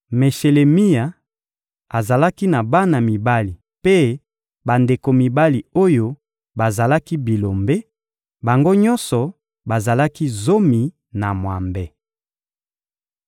Meshelemia azalaki na bana mibali mpe bandeko mibali oyo bazalaki bilombe: bango nyonso bazalaki zomi na mwambe.